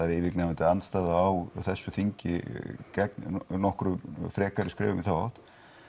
er yfirgnæfandi andstæða á þessu þingi gegn frekari skrefum í þá átt